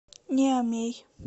ниамей